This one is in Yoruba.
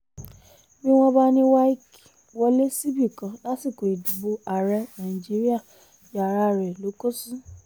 bí wọ́n bá ní wike wọlé síbì kan lásìkò ìdìbò ààrẹ nàìjíríà yàrá rẹ̀ ló kó sí